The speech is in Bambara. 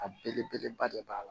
A belebeleba de b'a la